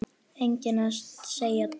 Enginn að segja djók?